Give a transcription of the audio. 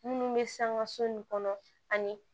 Minnu bɛ sangaso in kɔnɔ ani